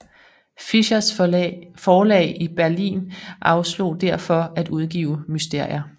Fischers forlag i Berlin afslog derfor at udgive Mysterier